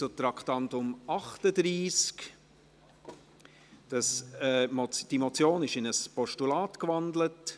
Zum Traktandum 38: Die Motion ist in ein Postulat gewandelt.